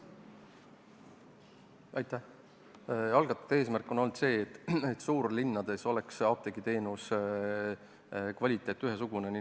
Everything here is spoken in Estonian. Algatatud eelnõu eesmärk on olnud see, et suurlinnades oleks apteegiteenuse kvaliteet ühesugune.